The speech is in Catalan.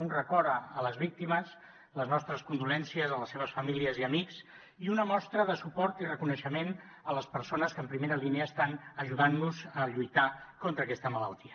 un record a les víctimes les nostres condolences a les seves famílies i amics i una mostra de suport i reconeixement a les persones que en primera línia estan ajudant nos a lluitar contra aquesta malaltia